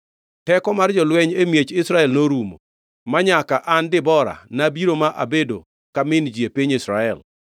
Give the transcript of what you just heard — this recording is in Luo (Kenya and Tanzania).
Teko mar jolweny e miech Israel norumo, manyaka an Debora nabiro, ma abedo ka min ji e piny Israel.